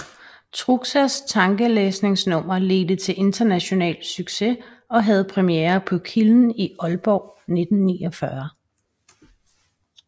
Truxas tankelæsningnummer ledte til international succes og havde premiere på Kilden i Ålborg 1949